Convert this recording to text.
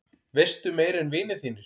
Veistu meira en vinir þínir?